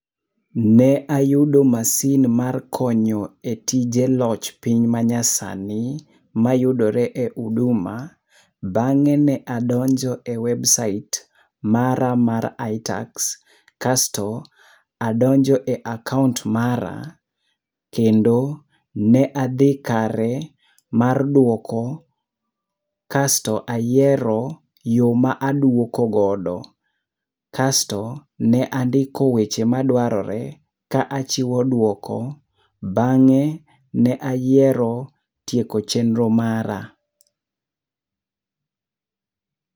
Ne ayudo masin mar konyo e tije loch piny manyasani mayudore e Uduma. Bang'e ne adonjo e websait mara mar iTax kasto adonjo e akaont mara. Kendo ne adhi kare mar dwoko kasto ayiero yo ma aduoko godo. Kasto ne andiko weche madwarore ka achiwo duoko, bange, ne ayiero tieko chenro mara.